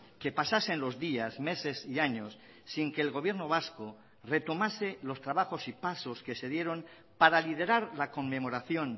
que pasasen los días meses y años sin que el gobierno vasco retomase los trabajos y pasos que se dieron para liderar la conmemoración